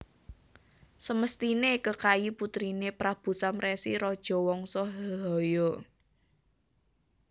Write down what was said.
Semesthiné Kekayi putriné Prabu Samresi raja Wangsa Hehaya